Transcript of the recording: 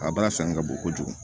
A baara sanga ka bon kojugu